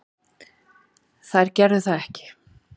Þær gerðu það ekki.